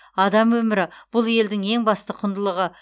адам өмірі бұл елдің ең басты құндылығы